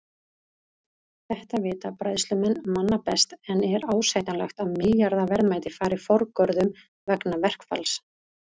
Þetta vita bræðslumenn manna best en er ásættanlegt að milljarða verðmæti fari forgörðum vegna verkfalls?